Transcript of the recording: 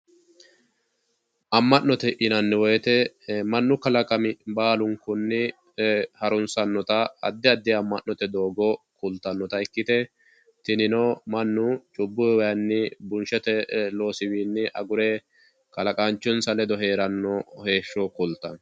amma'note yinanni woyiite mannu kalaqami baalunkunni harunsannota addi addi amma'note doogo kultanota ikkite tinino mannu cubbuyiwayiini bunshshete loosiwiinni agure kalaqaanchinsa ledo heeranno heeshsho kultanno.